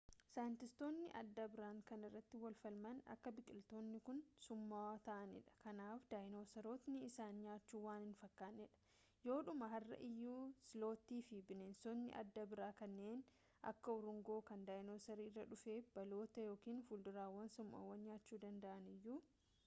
saayintistootni adda biraan kan irratti wal falmaan akka biqilootni kun summaawwa ta’aanidha kanaaf daayinosarootni isaan nyaachun waan hin fakkannee dha yoodhumaa har’a iyyuu slotii fi bineensotni adda bira kanneen akka urunguu kan daayinosarri irraa dhufe baalota yookiin fudurawwan summaawwa nyaachuu danda’aniyyuu